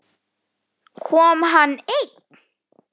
Kom hann einn?